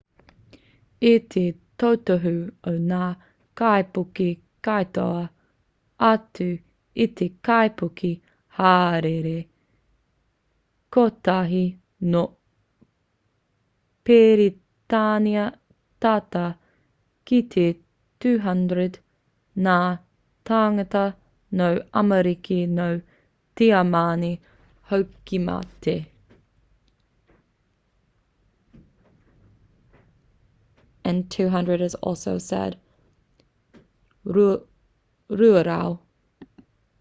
i te totohu o ngā kaipuke katoa atu i te kaipuke hāereere kotahi nō peretānia tata ki te 200 ngā tāngata no amerika nō tiamani hoki i mate